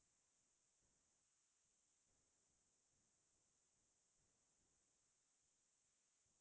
তাৰ পিছত ৰবীন্দ্ৰ সংগীত মোৰ আমাৰো পোৰানো জাহা ছ’ সেইটো গান মোৰ বহুত ভাল লাগিছে